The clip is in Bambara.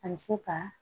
A bɛ se ka